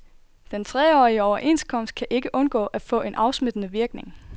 Den treårige overenskomst kan ikke undgå at få en afsmittende virkning.